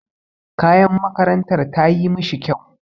Kayan makarantar tayi mishi kyau.